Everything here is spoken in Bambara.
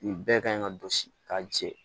Nin bɛɛ kan ka dɔsi ka jɛ